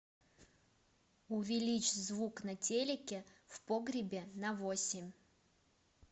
увеличь звук на телике в погребе на восемь